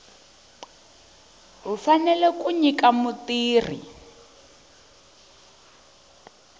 u fanele ku nyika mutirhi